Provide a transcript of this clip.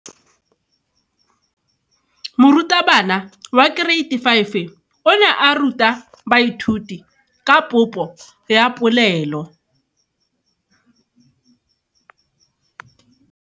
Moratabana wa kereiti ya 5 o ne a ruta baithuti ka popo ya polelo.